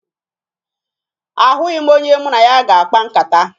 Ahụghị m onye mụ na ya ga-akpa nkata.